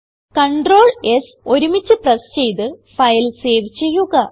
Ctrl S ഒരുമിച്ച് press ചെയ്ത് file save ചെയ്യുക